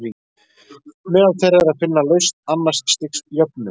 Meðal þeirra er að finna lausn annars stigs jöfnu.